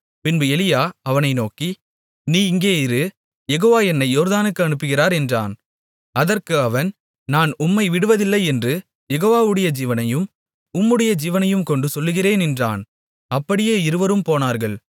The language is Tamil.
பின்பு எலியா அவனை நோக்கி நீ இங்கே இரு யெகோவா என்னை யோர்தானுக்கு அனுப்புகிறார் என்றான் அதற்கு அவன் நான் உம்மை விடுவதில்லை என்று யெகோவாவுடைய ஜீவனையும் உம்முடைய ஜீவனையும் கொண்டு சொல்லுகிறேன் என்றான் அப்படியே இருவரும் போனார்கள்